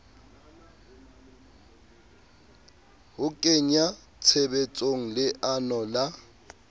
ho kenya tshebetsong leano la